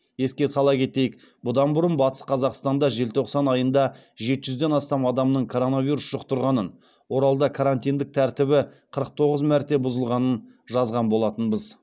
еске сала кетейік бұдан бұрын батыс қазақстанда желтоқсан айында жеті жүзден астам адамның коронавирус жұқтырғанын оралда карантиндік тәртібі қырық тоғыз мәрте бұзылғанын жазған болатынбыз